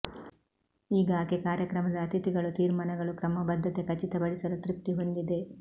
ಈಗ ಆಕೆ ಕಾರ್ಯಕ್ರಮದ ಅತಿಥಿಗಳು ತೀರ್ಮಾನಗಳು ಕ್ರಮಬದ್ಧತೆ ಖಚಿತಪಡಿಸಲು ತೃಪ್ತಿ ಹೊಂದಿದೆ